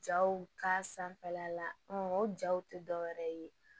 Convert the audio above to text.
Jaw ka sanfɛla la o jaw tɛ dɔwɛrɛ ye